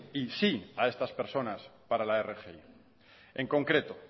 y sí a estas personas para la rgi en concreto